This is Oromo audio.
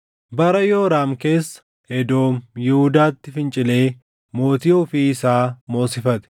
Bara Yooraam keessa Edoom Yihuudaatti fincilee mootii ofii isaa moosifate.